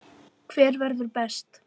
Hver verður best?